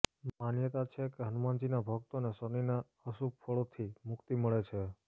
માન્યતા છે કે હનુમાનજીના ભક્તોનેશનિના અશુભ ફળોથી મુક્તિ મળે છે